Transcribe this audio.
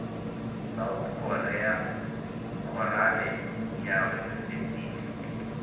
south korea khorale ya yunivesithi